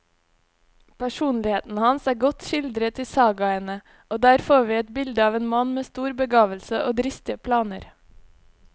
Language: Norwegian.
Personligheten hans er godt skildret i sagaene, og der får vi et bilde av en mann med stor begavelse og dristige planer.